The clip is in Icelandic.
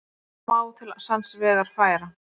Eitthvað má til sanns vegar færa